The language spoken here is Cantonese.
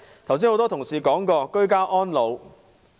剛才很多同事談過居家安老。